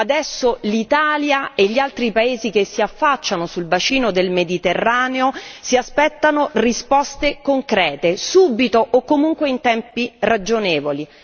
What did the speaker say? Adesso l'Italia e gli altri paesi che si affacciano sul bacino del Mediterraneo si aspettano risposte concrete, subito o comunque in tempi ragionevoli.